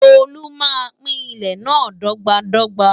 Tolú máa pín ilẹ̀ náà dọ́gba dọ́gba.